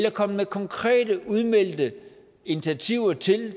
er kommet konkrete udmeldte initiativer til